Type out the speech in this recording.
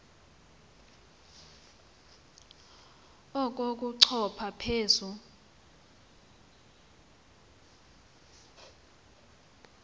oku kochopha phezu